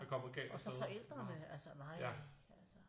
Og så forældrene altså nej altså